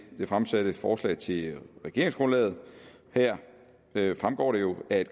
det fremsatte forslag til regeringsgrundlaget her fremgår det jo at